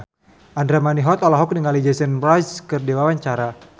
Andra Manihot olohok ningali Jason Mraz keur diwawancara